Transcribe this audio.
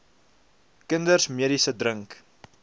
kinders medisyne drink